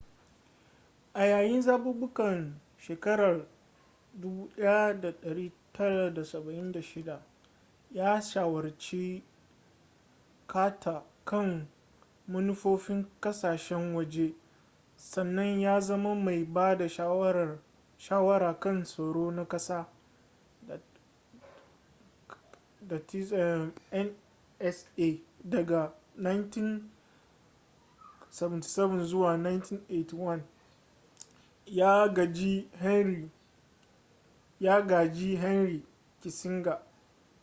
a yayin zabukan 1976 ya shawarci carter kan manufofin kasashen waje sannan ya zama mai ba da shawara kan tsaro na kasa nsa daga 1977 zuwa 1981 ya gaji henry kissinger